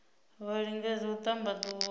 vha lingedze u ṱamba ḓuvha